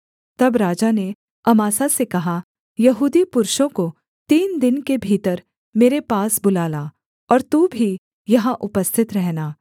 तब राजा ने अमासा से कहा यहूदी पुरुषों को तीन दिन के भीतर मेरे पास बुला ला और तू भी यहाँ उपस्थित रहना